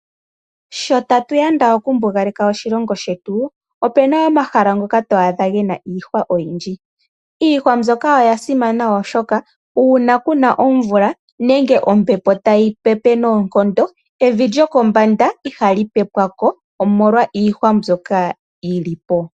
Sho tatu yanda okumbugaleka oshilongo shetu. Opu na wo omahala ngoka to adha ge na iihwa oyindji. Iihwa mbyoka oya simana oshoka uuna kuna omvula nenge ombepo tayi pepe noonkondo, evi lyokombanda iha lyi pepwa ko omolwa iihwa mbyoka yili po.